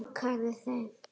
Lokaði þeim.